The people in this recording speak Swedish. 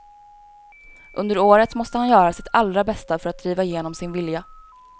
Under året måste han göra sitt allra bästa för driva igenom sin vilja.